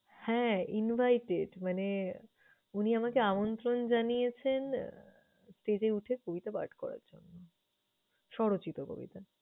হ্যাঁ, invited মানে উনি আমাকে আমন্ত্রণ জানিয়েছেন আহ stage এ উঠে কবিতা পাঠ করার জন্য স্বরচিত কবিতা।